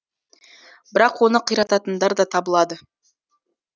бірақ оны қирататындар да табылады